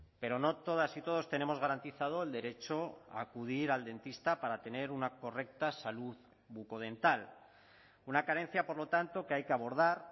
pero no todas y todos tenemos garantizado el derecho a acudir al dentista para tener una correcta salud bucodental una carencia por lo tanto que hay que abordar